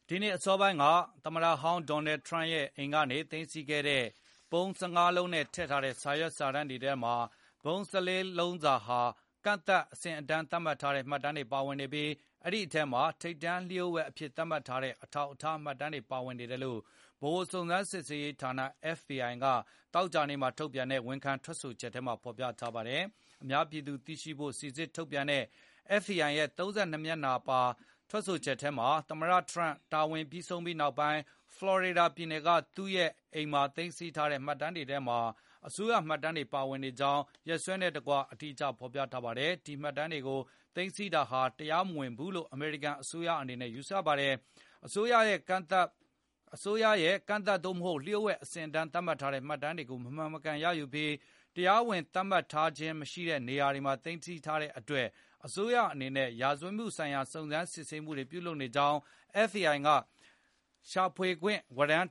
ဒီနှစ်အစောပိုင်းက သမတဟောင်း ဒေါ်နယ်ထရန့်ရဲ့ အိမ်ကနေ သိမ်းဆီးခဲ့တဲ့ ပုံး ၁၅ လုံးနဲ့ ထည့်ထားတဲ့ စာရွက်စာတမ်း တွေထဲမှာ ပုံး ၁၄ လုံးစာဟာ ကန့်သတ်အဆင့်အတန်း သတ်မှတ်ထားတဲ့ မှတ်တမ်းတွေပါဝင်နေပြီး၊ အဲဒီအထဲမှာ ထိပ်တန်းလျို့ဝှက်အဖြစ်သတ်မှတ်ထားတဲ့ အထောက်အထား မှတ်တမ်းတွေပါဝင်နေတယ်လို့ ဗဟိုစုံစမ်းစစ်ဆေးရေးဌာန FBI ကသောကြာနေ့မှာ ထုတ်ပြန်တဲ့ ဝန်ခံထွက်ဆိုချက်ထဲမှာဖေါ်ပြထားပါတယ်။ အများပြည်သူ သိရှိနိုင်ဖို့ စီစစ်ထုတ်ပြန်ထားတဲ့ FBI ရဲ့ ၃၂ နှစ်မျက်နှာပါ ထွက်ဆိုချက်ထဲမှာ၊ သမ္မတ ဒေါ်နယ်ထရန့် တာဝန်ပြီး ဆုံးသွားပြီးနောက် ဖလော်ရီဒါပြည်နယ်က သူ့ရဲ့ Mar-a-Lago မှာသိမ်းဆည်းထားတဲ့ မှတ်တမ်းတွေထဲမှာ အစိုးရမှတ်တမ်းတွေပါဝင်နေကြောင်း၊ ရက်စွဲနဲ့ တကွအသေးစိတ်ဖေါ်ပြထားပါတယ်။ ဒီမှတ်တမ်းတွေကို သိမ်းဆည်းထားတာဟာ တရားမဝင်ဘူးလို့ အမေရိကန်အစိုးရ အနေနဲ့ ယူဆပါတယ်။ အစိုးရရဲ့ ကန့်သတ် သို့မဟုတ် လျို့ဝှက်အဆင့်အတန်း သတ်မှတ်ထားတဲ့ မှတ်တမ်းတွေကို မမှန်မကန်ရယူပြီး၊ တရားဝင် သတ်မှတ်ထားတာ မဟုတ်တဲ့နေရာမှာ သိမ်းဆည်းထားတဲ့အတွက် အစိုးရအနေနဲ့ ရာဇဝတ်မှုဆိုင်ရာ စုံစမ်းစစ်ဆေးမှုတွေ ပြုလုပ်နေကြောင်း FBI က ရှာဖွေခွင့် ဝရန်း